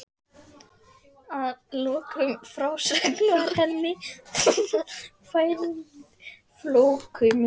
Að lokinni frásögn var henni færð flóuð mjólk.